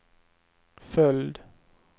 följd